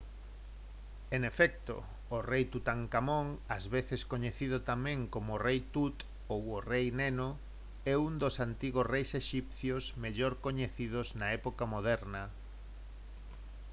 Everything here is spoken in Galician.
en efecto! o rei tutankamón ás veces coñecido tamén como o «rei tut» ou o «rei neno» é un dos antigos reis exipcios mellor coñecidos na época moderna